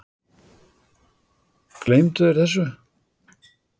Gleymdu þeir þessu?